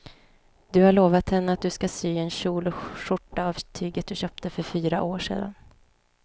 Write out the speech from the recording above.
Du har lovat henne att du ska sy en kjol och skjorta av tyget du köpte för fyra år sedan.